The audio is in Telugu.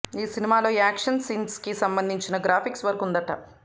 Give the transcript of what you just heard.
ఈ సినిమాలో యాక్షన్ సీన్స్కి సంబంధించిన గ్రాఫిక్స్ వర్క్ ఉందట